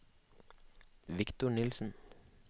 Viktor Nielsen